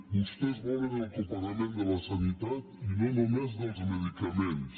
vostès volen el copagament de la sanitat i no només dels medicaments